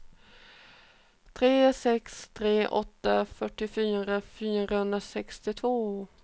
tre sex tre åtta fyrtiofyra fyrahundrasextiotvå